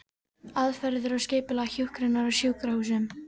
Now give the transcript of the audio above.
Aðferðir og skipulag hjúkrunar á sjúkrahúsum